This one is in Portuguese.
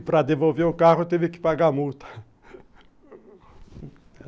E para devolver o carro teve que pagar a multa